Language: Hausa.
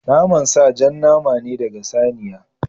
Naman sa jan nama ne ɗaga saniya.